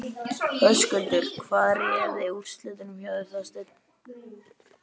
Höskuldur: Hvað réði úrslitum hjá þér, Þorsteinn?